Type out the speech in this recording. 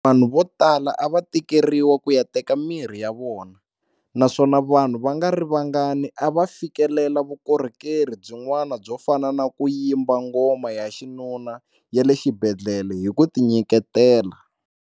Vanhu votala a va tikeriwa ku ya teka mirhi ya vona, naswona vanhu va nga ri vangani a va fi kelela vukorhokeri byin'wana byo fana na ku yimba ngoma ya vaxinuna ya le xibedhlele hi ku tinyiketela.